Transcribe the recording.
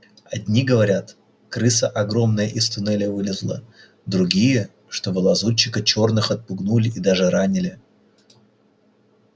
одни говорят крыса огромная из туннеля вылезла другие что вы лазутчика чёрных отпугнули и даже ранили